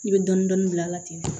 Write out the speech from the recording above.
I bɛ dɔɔnin dɔɔnin bila a la ten